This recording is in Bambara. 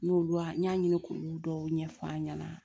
N y'olu n y'a ɲini k'olu dɔw ɲɛf'an ɲɛna